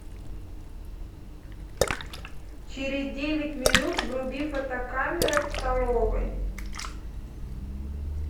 через девять минут вруби фотокамера в столовой